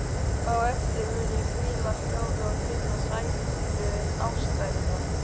Á eftir mun ég hvíla hljóð og finna sælu ástarinnar.